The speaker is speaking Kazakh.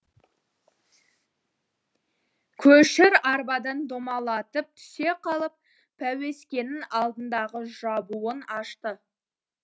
көшір арбадан домалатып түсе қалып пәуескенің алдындағы жабуын ашты